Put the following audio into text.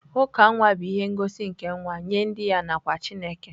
uka nwa bụ ihe ngosi nke nwata nye ndị ya na kwa Chineke.